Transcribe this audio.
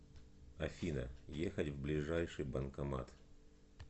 афина ехать в ближайший банкомат